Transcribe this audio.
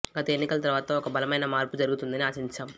గత ఎన్నికల తర్వాత ఒక బలమైన మార్పు జరుగుతుందని ఆశించాం